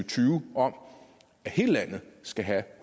tyve om at hele landet skal have